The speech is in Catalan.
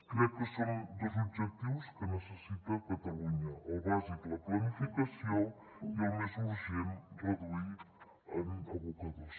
crec que són dos objectius que necessita catalunya el bàsic la planificació i el més urgent reduir en abocadors